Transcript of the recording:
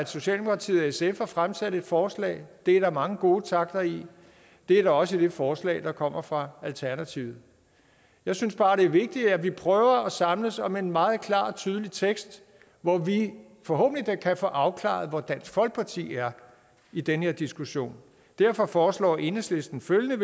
socialdemokratiet og sf har fremsat et forslag det er der mange gode takter i det er der også i det forslag der kommer fra alternativet jeg synes bare det er vigtigt at vi prøver at samles om en meget klar og tydelig tekst hvor vi forhåbentlig da kan få afklaret hvor dansk folkeparti er i den her diskussion derfor foreslår enhedslisten følgende